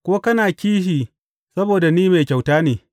Ko kana kishi saboda ni mai kyauta ne?’